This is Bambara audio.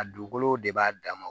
A dugukolo de b'a dama